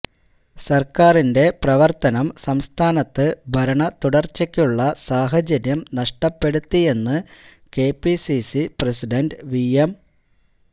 സര്ക്കാരിന്റെ പ്രവര്ത്തനം സംസ്ഥാനത്ത് ഭരണ തുടര്ച്ചക്കുള്ള സാഹചര്യം നഷ്ടപ്പെടുത്തിയെന്ന് K P C C president V M